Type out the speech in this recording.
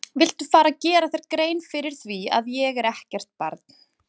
Viltu fara að gera þér grein fyrir því að ég er ekkert barn!